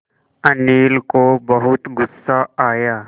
अनिल को बहुत गु़स्सा आया